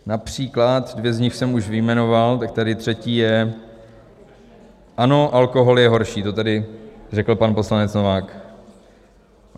Například dvě z nich jsem už vyjmenoval, tak tady je třetí: ano, alkohol je horší, to tady řekl pan poslanec Novák.